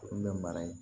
bɛ mara yen